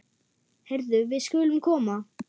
Heyrðu, við skulum koma.